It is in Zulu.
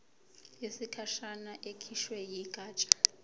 yesikhashana ekhishwe yigatsha